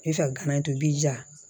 I bɛ fɛ ka gana in to i b'i ja